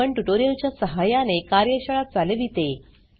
spoken tutorial च्या सहाय्याने कार्यशाळा चालविते